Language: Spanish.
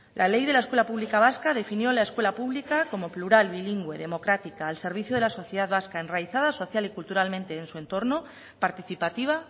la ley de la escuela pública vasca definió la escuela pública como plural bilingüe democrática al servicio de la sociedad vasca enraizada social y culturalmente en su entorno participativa